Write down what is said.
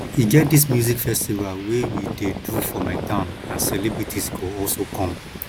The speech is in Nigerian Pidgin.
e get dis music festival wey we dey do for my town and celebrities go also come